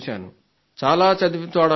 చాలా చదువుతాడనుకుంటా